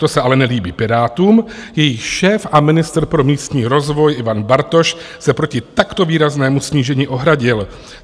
To se ale nelíbí Pirátům, jejichž šéf a ministr pro místní rozvoj Ivan Bartoš se proti takto výraznému snížení ohradil.